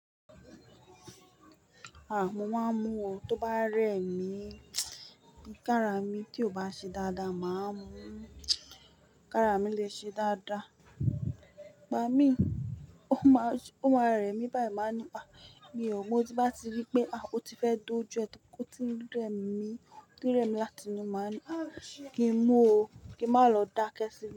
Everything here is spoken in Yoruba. Há, mo máa ń mu o tó bá rẹ mi. Kára mi tí kò bá ṣe dáadáa máa mú. Kára mi lè ṣe dáadáa. Ìgbà mi, ó máa, ó máa rẹ mi báyìí máa ni, "ha," mi ò, mo tí bá ti rí pé, a! O ti fẹ́ dojú ẹ́ tí ó ti ń rẹ mi, tí ó rẹ mi láti inú máa ni, "a! Kí n mu o, kí n má lọ dákẹ́ síbi."